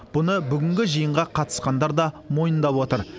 бұны бүгінгі жиынға қатысқандар да мойындап отыр